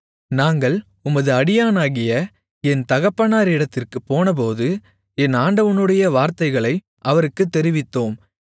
நாங்கள் உமது அடியானாகிய என் தகப்பனாரிடத்திற்குப் போனபோது என் ஆண்டவனுடைய வார்த்தைகளை அவருக்குத் தெரிவித்தோம்